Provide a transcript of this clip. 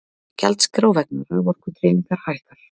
Gjaldskrá vegna raforkudreifingar hækkar